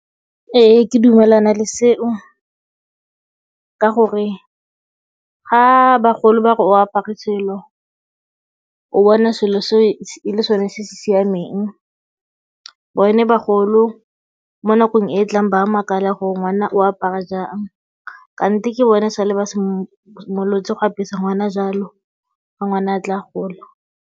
Ee ke dumelana le seo ka gore ga bagolo ba re o apare selo, o bona selo seo e le sone se se siameng bone bagolo mo nakong e e tlang ba a makala gore ngwana o apara jang kante ke bone sale ba simolotse go apesa ngwana jalo ga ngwana a tla a gola.